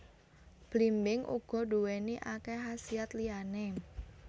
Blimbing uga nduwéni akéh khasiat liyané